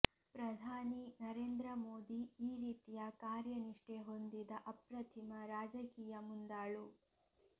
ಪ್ರಧಾನಿ ನರೇಂದ್ರ ಮೋದಿ ಈ ರೀತಿಯ ಕಾರ್ಯ ನಿಷ್ಠೆ ಹೊಂದಿದ ಅಪ್ರತಿಮ ರಾಜಕೀಯ ಮುಂದಾಳು